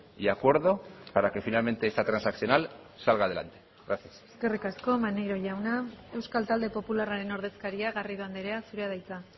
y acuerdo para que finalmente esta transaccional salga a delante gracias eskerrik asko maneiro jauna euskal talde popularraren ordezkaria garrido andrea zurea da hitza